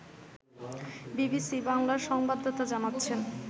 BBC বাংলার সংবাদদাতা জানাচ্ছেন